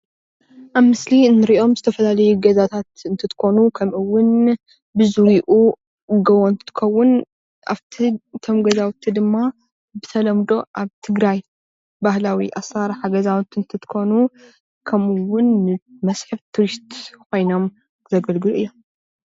ኣብዚ ምስሊ እንሪኦም ዝተፈላለዩ ገዛታት እንትትከኑ ኸምኡ ውን ብዙሪኡ ጎቦ እንትትከውን ኣብቲ እቶም ገዛውቲ ድማ ብተልምዶ ኣብ ትግራይ ባህላዊ ገዛውቲ እንትኮኑ፡ ብተለምዶ ድማ መስሕብ ቱሪስት ዚኮኑ እዮም።